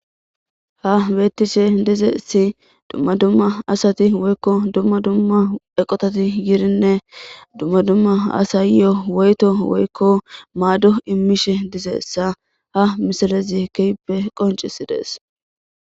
ha beettishe dizessi dumma dumma asati woykko dumma dumma eqotati yirinne dumma dumma asayyo woyto woykko maaddo immishe dizeessa ha misalezi keppe qoncisi dees